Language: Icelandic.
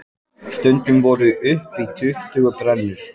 Stundum voru upp í tuttugu brennur.